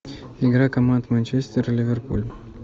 игра команд манчестер и ливерпуль